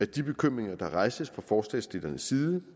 de bekymringer der rejses fra forslagsstillernes side